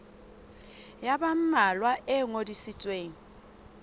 ya ba mmalwa e ngodisitsweng